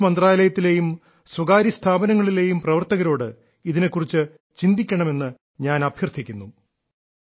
sports മന്ത്രാലയത്തിലെയും സ്വകാര്യ സ്ഥാപനങ്ങളിലെയും പ്രവർത്തകരോട് ഇതിനെ കുറിച്ച് ചിന്തിക്കണമെന്ന് ഞാൻ അഭ്യർത്ഥിക്കുന്നു